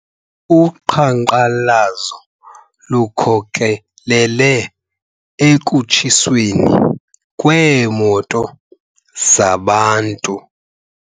Uqhankqalazo lukhokelele ekutshiweni kweemoto zabantu.